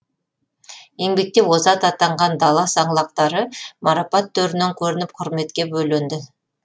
еңбекте озат атанған дала саңлақтары марапат төрінен көрініп құрметке бөленді